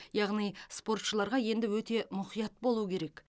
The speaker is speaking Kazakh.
яғни спортшыларға енді өте мұқият болу керек